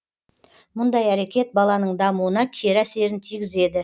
мұндай әрекет баланың дамуына кері әсерін тигізеді